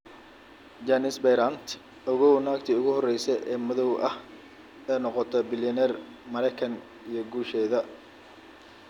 Janice Bryant: Ogow naagtii ugu horeysay ee madow ah ee noqota bilyaneer Maraykanka iyo guusheeda